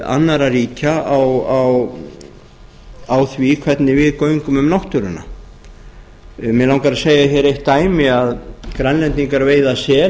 annarra ríkja á því hvernig við göngum um náttúruna mig langar að segja hér eitt dæmi að grænlendingar veiða sel